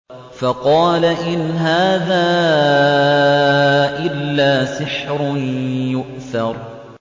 فَقَالَ إِنْ هَٰذَا إِلَّا سِحْرٌ يُؤْثَرُ